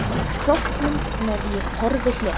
Króknum með ég torfi hleð.